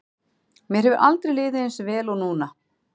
Mér hefur aldrei liðið eins vel og núna.